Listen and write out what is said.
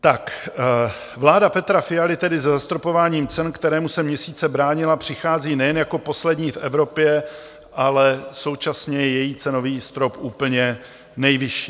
Vláda Petra Fialy tedy se zastropováním cen, kterému se měsíce bránila, přichází nejen jako poslední v Evropě, ale současně je její cenový strop úplně nejvyšší.